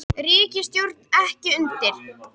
Ríkisstjórnin ekki undir